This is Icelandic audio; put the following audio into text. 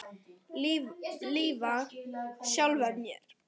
Lifað sjálfri mér.